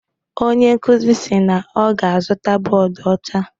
Onye nkuzi si na ọ ga-azụta bọọdụ ọcha.